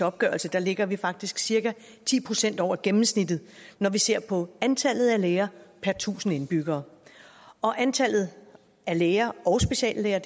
opgørelse ligger vi faktisk cirka ti procent over gennemsnittet når vi ser på antallet af læger per tusind indbyggere antallet af læger og speciallæger